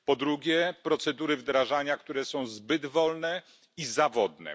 Po drugie, procedury wdrażania, które są zbyt wolne i zawodne.